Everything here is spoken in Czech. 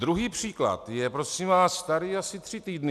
Druhý příklad je, prosím vás, starý asi tři týdny.